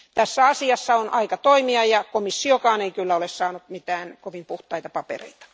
Tässä asiassa on aika toimia, ja komissiokaan ei kyllä ole saanut mitään kovin puhtaita papereita.